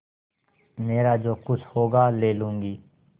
मेरा जो कुछ होगा ले लूँगी